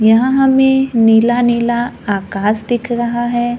यहां हमें नीला-नीला आकाश दिख रहा है।